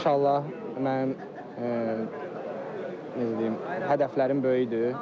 İnşallah mənim necə deyim, hədəflərim böyükdür.